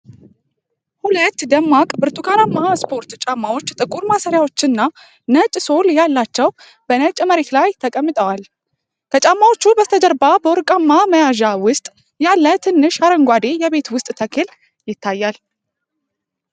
ሁለት ደማቅ ብርቱካናማ ስፖርት ጫማዎች ጥቁር ማሰሪያዎች እና ነጭ ሶል ያላቸው በነጭ መሬት ላይ ተቀምጠዋል። ከጫማዎቹ በስተጀርባ በወርቃማ መያዣ ውስጥ ያለ ትንሽ አረንጓዴ የቤት ውስጥ ተክል ይታያል።